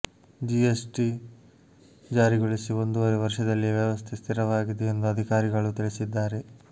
GST ಜಾರಿಗೊಳಿಸಿ ಒಂದೂವರೆ ವರ್ಷದಲ್ಲಿಯೇ ವ್ಯವಸ್ಥೆ ಸ್ಥಿರವಾಗಿದೆ ಎಂದು ಅಧಿಕಾರಿಗಳು ತಿಳಿಸಿದ್ದಾರೆ